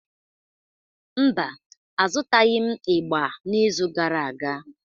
Mba, azụtaghị m ịgbà n'izu gara aga.